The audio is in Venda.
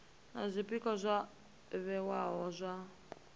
na zwpikwa zwo vhewaho zwa